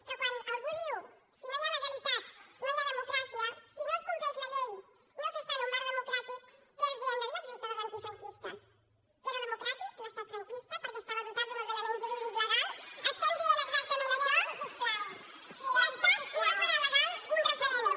però quan algú diu si no hi ha legalitat no hi ha democràcia si no es compleix la llei no s’està en un marc democràtic què els hem de dir als lluitadors antifranquistes que era democràtic l’estat franquista perquè estava dotat d’un ordenament jurídic legal estem dient exactament això l’estat no farà legal un referèndum